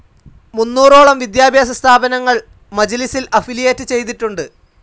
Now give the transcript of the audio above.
മുന്നോറോളം വിദ്യാഭ്യാസ സ്ഥാപനങ്ങൾ മജ്ലിസിൽ അഫിലിയേറ്റ്‌ ചെയ്തിട്ടുണ്ട്.